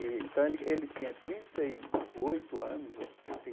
Então, ele ele tinha trinta e oito anos ou trinta e